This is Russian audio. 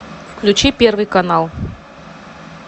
включи первый канал